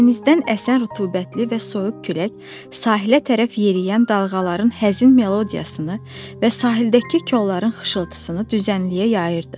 Dənizdən əsən rütubətli və soyuq külək sahilə tərəf yeriyən dalğaların həzin melodiyasını və sahildəki kolların xışıltısını düzənliyə yayırdı.